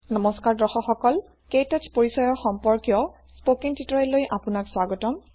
নমস্কাৰ দৰ্শক সকল ক্তৌচ পৰিচয় সম্পৰ্কীয় স্পকেন টিওটৰীয়েল লৈ স্বাগতম